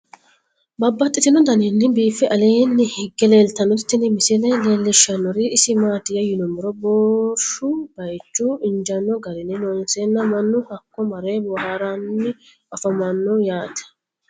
Babaxxittinno daninni biiffe aleenni hige leelittannotti tinni misile lelishshanori isi maattiya yinummoro boorishu bayiichchu injjanno garinni loonseenna mannu hakko mare booharanni afammanno yatte